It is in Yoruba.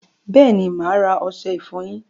Bẹẹni, máa ra ọṣẹ ifọyín